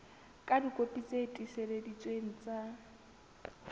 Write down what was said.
ka dikopi tse tiiseleditsweng tsa